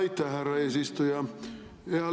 Aitäh, härra eesistuja!